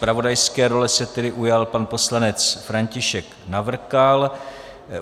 Zpravodajské role se tedy ujal pan poslanec František Navrkal.